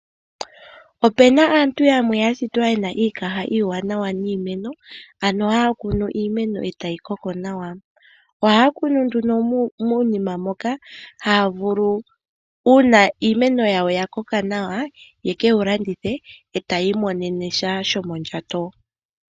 Opena aantu yamwe yashitwa yena iikaha iiwanawa niimeno ano haya kunu iimeno etayi koko nawa. Ohaya kunu nduno muunima moka haya vulu uuna iimeno yawo ya koko nawa ye keyi landithe e taya imonene sha shomondjato